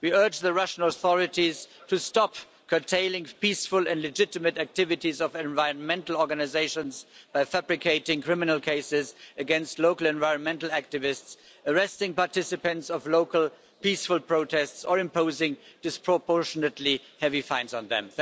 We urge the Russian authorities to stop curtailing peaceful and legitimate activities of environmental organisations by fabricating criminal cases against local environmental activists, arresting participants of local peaceful protests or imposing disproportionately heavy fines on them.